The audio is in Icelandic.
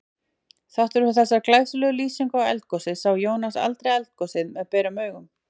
Þrátt fyrir þessa glæsilegu lýsingu á eldgosi sá Jónas aldrei eldgos með berum augum.